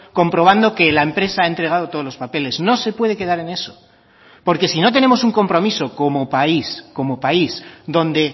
comprobando que la empresa ha entregado todos los papeles no se puede quedar en eso porque si no tenemos un compromiso como país como país donde